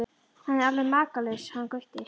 Hann er alveg makalaus hann Gutti.